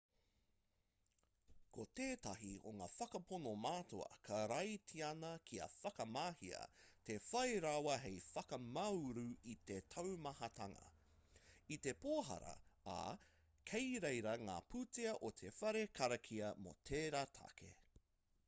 ko tētahi o ngā whakapono matua karaitiana kia whakamahia te whai rawa hei whakamāuru i te taumahatanga i te pōhara ā kei reira ngā pūtea o te whare karakia mō tērā take